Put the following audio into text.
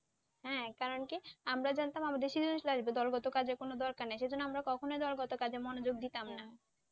হ্যাঁ কারণ কি আমরা জানতাম আমাদের সৃজনশীল আসবে দলগত কাজের কোন দরকার নেই সেই জন্য আমরা কখনোই দলগত কাজে মনোযোগ দিতাম